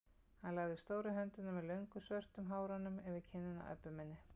Hann lagði stóru höndina með löngu svörtu hárunum yfir kinnina á Öbbu hinni.